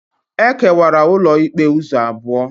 E kewara ụlọikpe ụzọ abụọ.